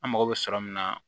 An mago bɛ sɔrɔ min na